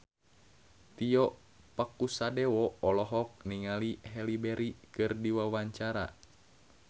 Tio Pakusadewo olohok ningali Halle Berry keur diwawancara